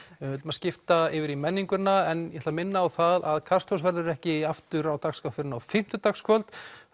við ætlum að skipta yfir í menninguna en ég ætla að minna á það að Kastljósið verður ekki aftur á dagskrá fyrr en á fimmtudagskvöld